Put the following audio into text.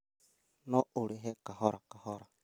No ũrĩhe kahora kahora